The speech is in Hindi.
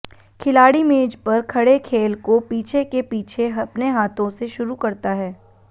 खिलाड़ी मेज पर खड़े खेल को पीछे के पीछे अपने हाथों से शुरू करता है